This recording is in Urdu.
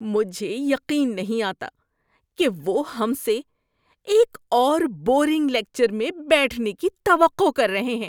مجھے یقین نہیں آتا کہ وہ ہم سے ایک اور بورنگ لیکچر میں بیٹھنے کی توقع کر رہے ہیں۔